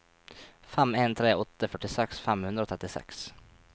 fem en tre åtte førtiseks fem hundre og trettiseks